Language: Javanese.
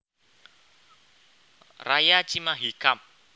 Raya Cimahi Kab